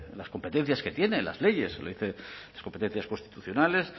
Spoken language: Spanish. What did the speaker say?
las competencias que tienen las leyes lo dicen las competencias constitucionales